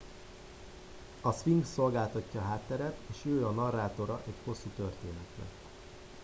a szfinx szolgáltatja a hátteret és ő a narrátora egy hosszú történetnek